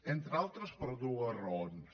entre altres per dues raons